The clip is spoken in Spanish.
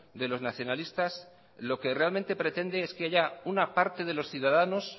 de los nacionalistas lo que realmente pretende es que haya una parte de los ciudadanos